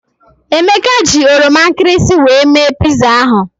Emeka ji oroma nkịrịsị wee mee piza ahụ.